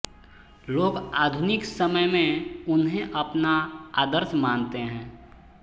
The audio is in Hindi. लोग आधुनिक समय में उन्हें अपना आदर्श मानते हैं